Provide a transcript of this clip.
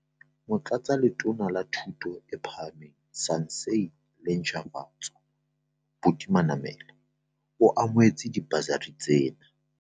Motlatsi wa Letona la Thuto e Phahameng, Saense le Ntjhafatso, Buti Manamela, o amohetse dibasari tsena.